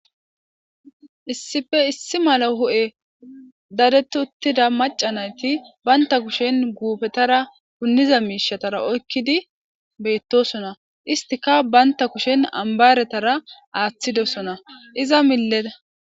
Issife issi mala hu7e dadetuttida macanayti baynta kushen guupetara punniza miishatara oykkidi beettosona istika baynta kushen ambaretara aaththidosona iza milleda